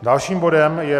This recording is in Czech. Dalším bodem je